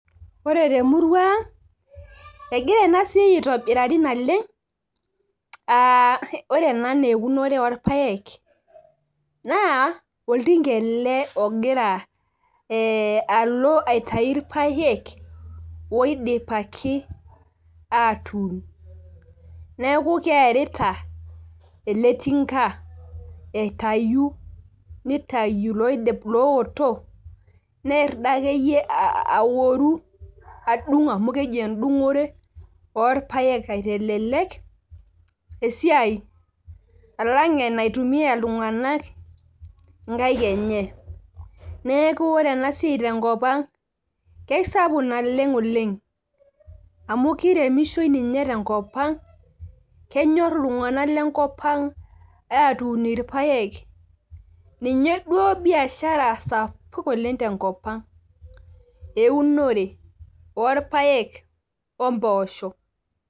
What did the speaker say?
ore temurua ang egira enasiai atobirari naleng',aa ore ena naa eunore oo ilpaek naa oltinga ele oloito aitayu ilpayekek oidipaki atuun neeku keerita ele tinka aitayu nitayu iloowotok, neer dii akeyie adung' amu keji edung'ore, oolpayek aitelelek alang' anetumiya iltung'anak inkaek enye, neeku ore ena siai tenkopang kisapuk naleng oleng amu kiremishoi ninye tengopang' kenyor iltung'anak lenkopang' aatuun ilpaek ninye duu biashara sapuk oleng tenkopang' eeunore oo ilpayek omposho.